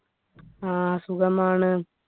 ആ സുഖമാണ്